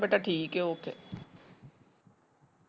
ਬੇਟਾ ਠੀਕ ਏ ਓਕੇ।